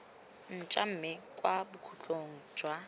ntšhwa mme kwa bokhutlong jwa